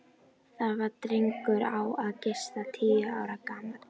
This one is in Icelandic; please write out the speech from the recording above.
Það var drengur á að giska tíu ára gamall.